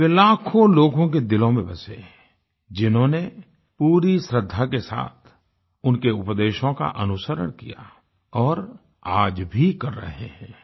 वे लाखों लोगों के दिलों में बसे जिन्होंने पूरी श्रद्धा के साथ उनके उपदेशों का अनुसरण किया और आज भी कर रहे हैं